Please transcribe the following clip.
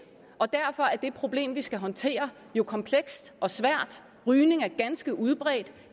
og derfor er det problem vi skal håndtere jo komplekst og svært rygning er ganske udbredt